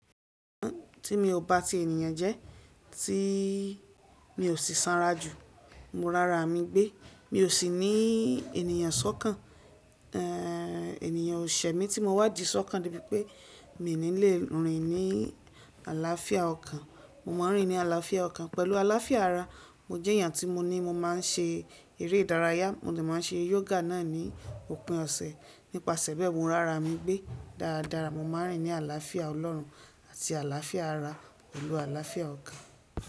Tí mi ò bá ti ènìyàn jẹ, tí mi ò sì sanra jù, mo rárá mi gbé, mi ò sì ní ènìyàn sọ́kàn, ènìyàn ò ṣe mí tí mo wá jí sọ́kàn níbí pé mi ò ní lè rìn ní àlàáfíà ọkàn. Mo máa ń rìn ní àlàáfíà ọkàn pẹ̀lú àlàáfíà ara. Mo jẹ́ èèyàn tí mo ní mo máa ń ṣe eré ìdárayá, mo lè máa ń ṣe yoga náà ní òpin ọ̀sẹ̀. Nípasẹ̀ bẹ́ẹ̀ mo rárá mi gbé dáradára, mo máa ń rìn ní àlàáfíà ọlọ́run àti àlàáfíà ara pẹ̀lú àlàáfíà ọkàn.